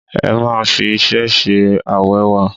Ẹ má fi iṣẹ́ ṣe awẹ́wa!